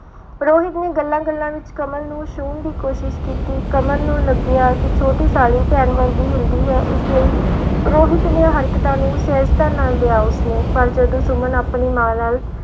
ਰੋਹਿਤ ਨੇ ਗੱਲਾਂ ਗੱਲਾਂ ਵਿੱਚ ਕਮਲ ਨੂੰ ਛੂਹਣ ਦੀ ਕੋਸ਼ਿਸ਼ ਕੀਤੀ ਕਮਲ ਨੂੰ ਲੱਗਿਆ ਕਿ ਛੋਟੀ ਸਾਲੀ ਭੈਣ ਵਰਗੀ ਹੁੰਦੀ ਹੈ, ਇਸ ਲਈ ਰੋਹਿਤ ਦੀਆਂ ਹਰਕਤਾਂ ਨੂੰ ਸਹਿਜਤਾ ਨਾਲ ਲਿਆ ਉਸਨੇ, ਪਰ ਜਦੋਂ ਸੁਮਨ ਆਪਣੀ ਮਾਂ ਨਾਲ